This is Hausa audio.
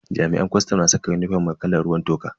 Jami'an kwastam na saka unifom mai kalan ruwan toka.